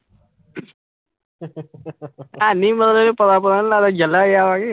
ਹੈ ਨੀ ਪਤਾ ਪੁਤਾ ਨੀ ਲੱਗਦਾ